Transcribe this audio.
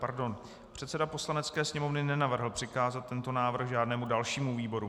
Pardon, předseda Poslanecké sněmovny nenavrhl přikázat tento návrh žádnému dalšímu výboru.